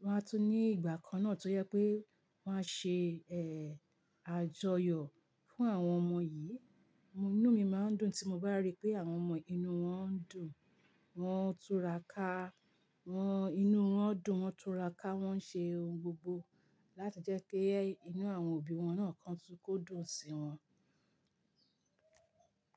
Wọn á tún ní ìgbà kan náà tó jẹ pé wọ́n á ṣe ẹ́ àjọyọ̀ fún àwọn ọmọ yìí. Inú mi máa ń dùn tí mo bá rí pé àwọn ọmọ yii inú wọn ń dùn, wọ́n túrà ká, wọ́n inú wọn dùn, wọ́n túrà ká, wọ́n ń ṣe ohun gbogbo láti jẹ́ kí inú àwọn òbí wọn náà kan tún kó dùn sí wọn.